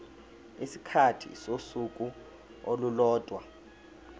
isikhathi sosuku olulodwa